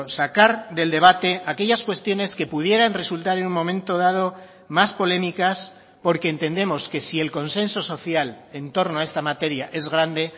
sacar del debate aquellas cuestiones que pudieran resultar en un momento dado más polémicas porque entendemos que si el consenso social en torno a esta materia es grande